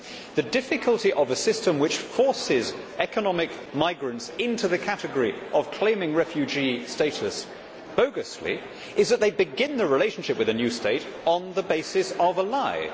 The difficulty of a system which forces economic migrants into the category of claiming refugee status bogusly is that they begin the relationship with a new state on the basis of a lie.